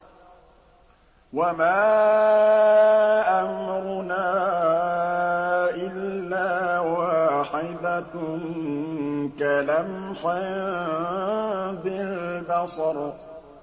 وَمَا أَمْرُنَا إِلَّا وَاحِدَةٌ كَلَمْحٍ بِالْبَصَرِ